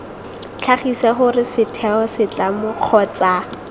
tlhagise gore setheo setlamo kgotsa